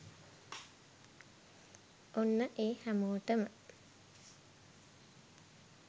ඔන්න එ හැමොටම